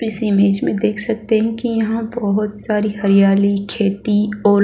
इस इमेज में देख सकते है की यहाँ बहोत सारी हरियाली खेती और --